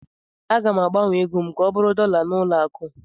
Aga m agbanwe ego m ka ọ bụrụ dọla na ụlọ akụ